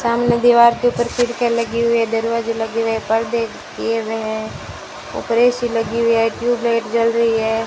सामने दीवार के ऊपर खिड़कियां लगी हुई है दरवाजे लगे हुए है पर्दे किए हुए हैं ऊपर ए_सी लगी हुई है ट्यूब लाइट जल रही है।